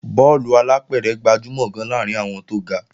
Bọ́ọ̀lù alápẹ̀rẹ̀ gbajúmọ̀ gan-an láàrín àwọn tó ga